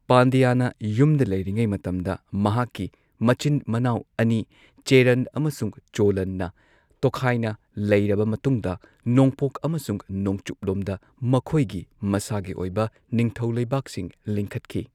ꯄꯥꯟꯗ꯭ꯌꯅ ꯌꯨꯝꯗ ꯂꯩꯔꯤꯉꯩ ꯃꯇꯝꯗ ꯃꯍꯥꯛꯀꯤ ꯃꯆꯤꯟ ꯃꯅꯥꯎ ꯑꯅꯤ ꯆꯦꯔꯟ ꯑꯃꯁꯨꯡ ꯆꯣꯂꯟꯅ ꯇꯣꯈꯥꯏꯅ ꯂꯩꯔꯕ ꯃꯇꯨꯡꯗ ꯅꯣꯡꯄꯣꯛ ꯑꯃꯁꯨꯡ ꯅꯣꯡꯆꯨꯞꯂꯣꯝꯗ ꯃꯈꯣꯏꯒꯤ ꯃꯁꯥꯒꯤ ꯑꯣꯏꯕ ꯅꯤꯡꯊꯧ ꯂꯩꯕꯥꯛꯁꯤꯡ ꯂꯤꯡꯈꯠꯈꯤ꯫